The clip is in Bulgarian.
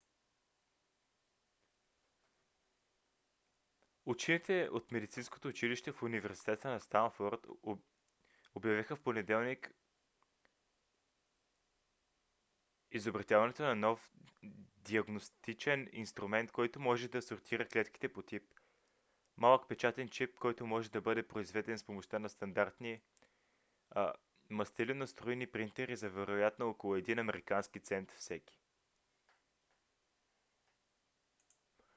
учените от медицинското училище в университета в станфод обявиха в понеделник изобретяването на нов диагностичен инструмент който може да сортира клетките по тип: малък печатен чип който може да бъде произведен с помощта на стандартни мастилено-струйни принтери за вероятно около един американски цент всеки